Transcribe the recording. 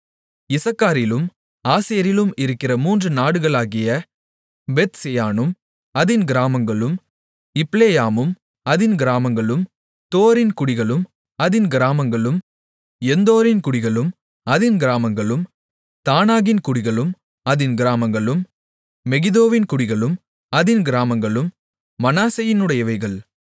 இசக்காரிலும் ஆசேரிலும் இருக்கிற மூன்று நாடுகளாகிய பெத்செயானும் அதின் கிராமங்களும் இப்லேயாமும் அதின் கிராமங்களும் தோரின் குடிகளும் அதின் கிராமங்களும் எந்தோரின் குடிகளும் அதின் கிராமங்களும் தானாகின் குடிகளும் அதின் கிராமங்களும் மெகிதோவின் குடிகளும் அதின் கிராமங்களும் மனாசேயினுடையவைகள்